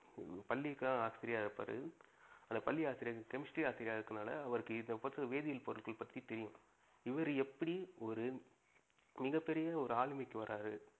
பள்ளிக்கு ஆசிரியரா இருப்பாரு. அந்த பள்ளி ஆசிரியர் chemistry ஆசிரியரா இருக்குறதுனால அவருக்கு இத வேதியல் பத்தி தெரியும். இவரு எப்படி ஒரு மிக பெரிய ஒரு ஆளுமைக்கு வராரு.